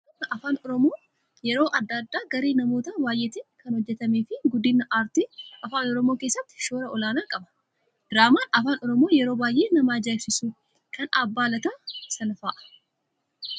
Diraamaan afaan Oromoo yeroo adda addaa garee namoota baay'eetiin kan hojjatamee fi guddina aartii afaan oromoo keessatti shoora olaanaa qaba. Diraamaan afaan Oromoo yeroo baay'ee na ajaa'ibsiisu kan abbaa lataa Sanaa fa'aa